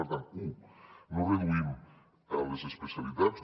per tant u no reduïm les especialitats